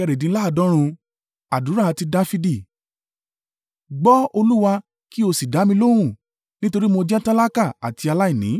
Àdúrà ti Dafidi. Gbọ́, Olúwa, kí o sì dá mi lóhùn, nítorí mo jẹ́ tálákà àti aláìní.